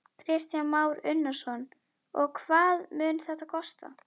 Kristján Már Unnarsson: Og hvað mun þetta kosta?